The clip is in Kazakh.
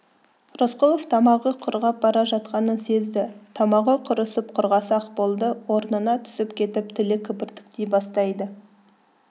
рысқұлов тамағы құрғап бара жатқанын сезді тамағы құрысып құрғаса-ақ болды орнына түсіп кетіп тілі кібіртіктей бастайды